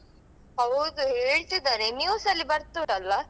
ಹೌದು ಹೇಳ್ತಿದಾರೆ news ಅಲ್ಲಿ ಬರ್ತುದಲ್ಲ.